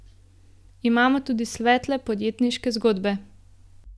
Imamo tudi svetle podjetniške zgodbe.